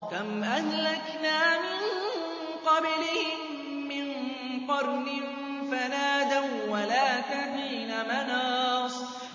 كَمْ أَهْلَكْنَا مِن قَبْلِهِم مِّن قَرْنٍ فَنَادَوا وَّلَاتَ حِينَ مَنَاصٍ